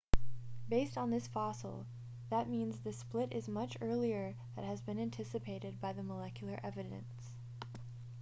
based on this fossil that means the split is much earlier than has been anticipated by the molecular evidence